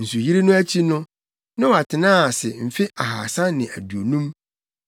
Nsuyiri no akyi no, Noa tenaa ase mfe ahaasa ne aduonum.